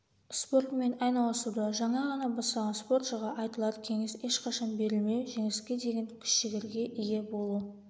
спортымен айналысуды жаңа ғана бастаған спортшыға айтылар кеңес ешқашан берілмеу жеңіске деген күш-жігерге ие болу